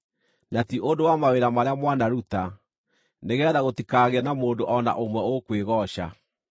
na ti ũndũ wa mawĩra marĩa mwanaruta, nĩgeetha gũtikagĩe na mũndũ o na ũmwe ũkwĩgooca.